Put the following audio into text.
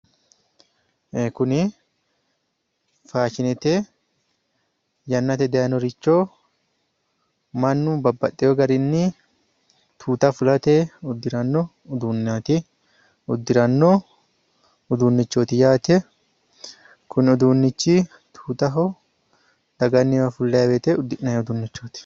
ee kunni faashinete yannate dayiinoricho mannu babbaxewo garinni tuuta fulate uddiranno uduunneeti yaate kuni uduunnichi tuutaho daganniwa fullayi wote uddinnanni uduunnichooti yaate.